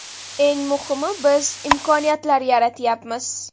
Eng muhimi biz imkoniyatlar yaratyapmiz.